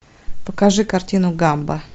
покажи картину гамба